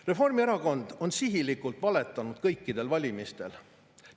Reformierakond on sihilikult valetanud kõikidel valimistel.